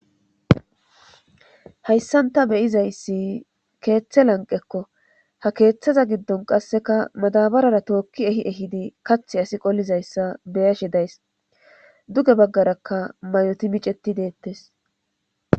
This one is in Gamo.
Hayssanta beyizayssi keeththe lanqekko ha keeththaza giddon qasseka madabarara tookki ehi ehidi kathi asi qollizayssa beyashe days duge baggarakka mayoti miceti deettes.